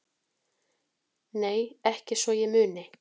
Nei ekki svo ég muni